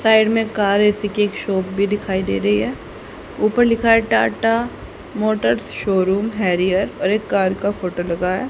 Side में car AC की shop दिखाई दे रही है ऊपर लिखा है टाटा मोटर्स शोरूम हैरियर और एक कार का फोटो लगा है।